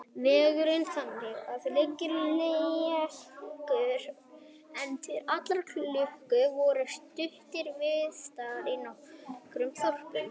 Vegurinn þangað var lygilega lélegur, en til allrar lukku voru stuttar viðdvalir í nokkrum þorpum.